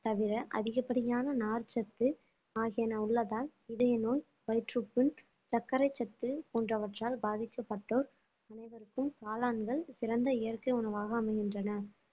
தவிர அதிகப்படியான நார்ச்சத்து ஆகியன உள்ளதால் இதய நோய் வயிற்றுப்புண் சர்க்கரை சத்து போன்றவற்றால் பாதிக்கப்பட்டோர் அனைவருக்கும் காளான்கள் சிறந்த இயற்கை உணவாக அமைகின்றன